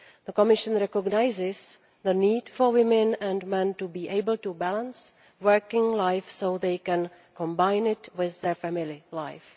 The Commission recognises the need for women and men to be able to balance working life so they can combine it with their family life.